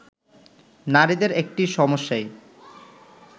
নারীদের একটি সমস্যাই